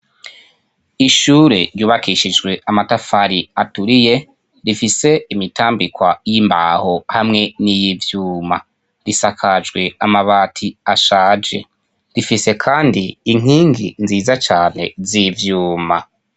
Ishure ryubakishijwe amatafari aturiye rifise imitambikwa y'imbaho hamwe n'iyivyuma. Risakajwe amabati ashaje. Rifise kandi inkingi nziza cyane z'ivyuma.